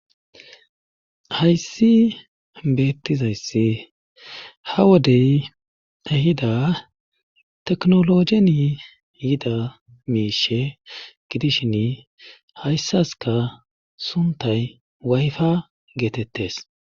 Hayssi beettizayssi ha wodey ehida teknologeni yida miishe gidishin hayssaska suntay wayfa geetettes.